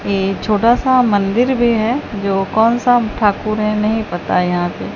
ये छोटा सा मंदिर भी है जो कौन सा ठाकुर है नहीं पता यहां पे--